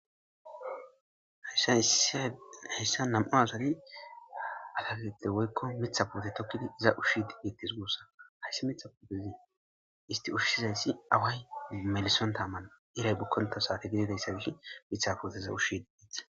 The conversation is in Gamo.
hayssa nam7u asari atakette woykko mitha pute tokkidi iza ushshi di giitis guussa hayssi mitha putezi isti ushshizayssi away melison taamana iray bukkonto saate gididayssabishi mitha puteza ushshii itha